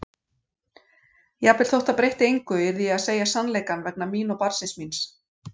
Jafnvel þótt það breytti engu yrði ég að segja sannleikann vegna mín og barnsins míns.